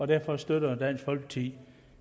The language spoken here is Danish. derfor støtter dansk folkeparti